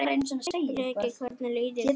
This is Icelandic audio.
Breki: Hvernig líður þér?